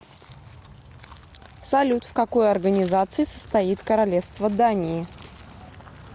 салют в какой организации состоит королевство дании